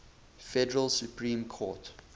federal supreme court